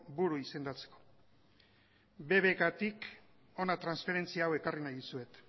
buru izendatzeko bbk tik hona transferentzia hau ekarri nahi dizuet